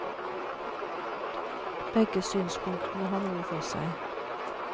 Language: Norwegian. Begge synspunktene har noe for seg.